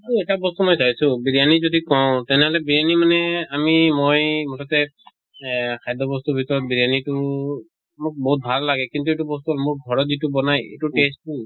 তʼ এটা বস্তু মই চাইছো বিৰয়ানি যদি কওঁ তেনেহলে বিৰয়ানি মানে আমি মই মোঠতে এহ খাদ্য় বস্তুৰ ভিতৰত বিৰয়ানি টো মোক বহুত ভাল লাগে। কিন্তু এইটো বস্তু মোক ঘৰত যিটো বনায় এটো taste টো